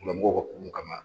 bo kɔ tugun kana.